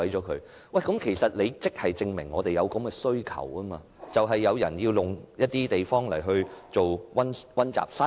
其實，這正正說明社會上有這種需求，就是有人需要一些地方作為溫習室。